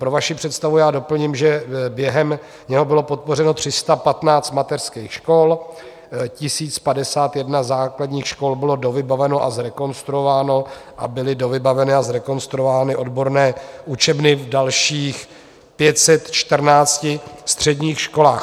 Pro vaši představu doplním, že během něho bylo podpořeno 315 mateřských škol, 1 051 základních škol bylo dovybaveno a zrekonstruováno a byly dovybaveny a zrekonstruovány odborné učebny v dalších 514 středních školách.